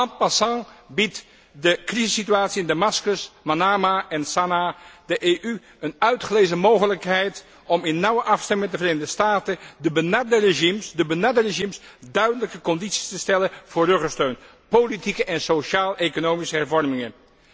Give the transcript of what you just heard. En passant biedt de crisissituatie in Damascus, Manamah en Sanaa de EU een uitgelezen mogelijkheid om in nauwe afstemming met de Verenigde Staten de benarde regimes duidelijke condities te stellen voor ruggesteun politieke en sociaal economische hervormingen.